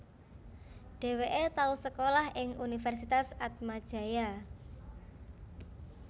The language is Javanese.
Dheweke tau sekolah ing Universitas Atmajaya